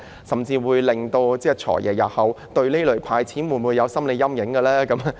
甚至會否令"財爺"日後對這類"派錢"計劃有心理陰影呢？